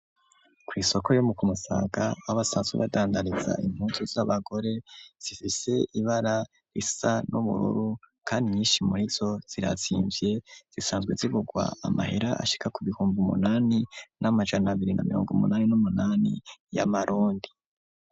Kw'isoko yo ku Musaga, aho basanzwe badandariza impuzu z'abagore zifise ibara risa n'ubururu kandi nyinshi murizo zirazimvye, zisanzwe zigurwa amahera ashika ku bihumbi umunani n'amajana abiri na mirongo umunani n'umunani y'amarundi.